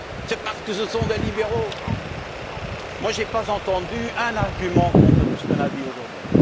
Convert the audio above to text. c'est parce que ce sont des libéraux. Je n'ai pas entendu un seul argument contre tout ce qu'on a dit aujourd'hui.